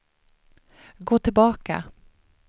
gå tillbaka